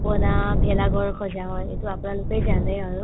পনা ভেলাঘৰ সজা হয় এইটো আপোনালোকে জানে আৰু